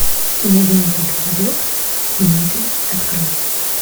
кинолента городок семетри открой